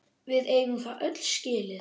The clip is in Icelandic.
Við eigum það öll skilið!